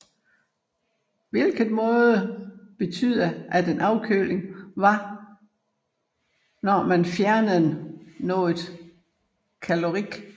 Hvilket måtte betyde at en afkøling var når man fjernede noget Caloric